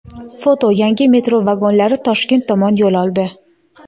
Foto: yangi metro vagonlari Toshkent tomon yo‘l oldi.